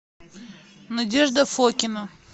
надежда фокина